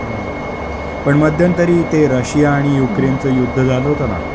हं. पण मध्यन्तरी ते रशिया आणि युक्रेनचं युद्ध झालं होतं ना.